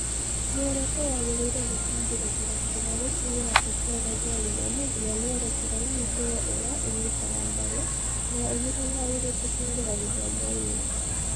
Muoroto wagĩrĩire gũtambũrũkĩra kuuma gũkinyĩra Tekinoronjĩ ya Gĩthomo nginya mĩerekera na mĩtugo ĩrĩa ĩnyitaga mbaru kana ĩgiragia airĩtu kũingĩra gĩthomo-inĩ.